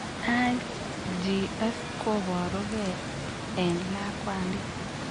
IGS koboru gee en lakwandit